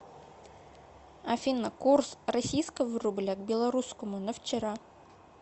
афина курс российского рубля к белорусскому на вчера